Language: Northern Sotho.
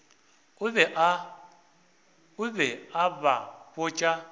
o be a ba botša